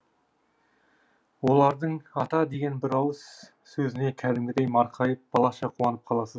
олардың ата деген бір ауыз сөзіне кәдімгідей марқайып балаша қуанып қаласыз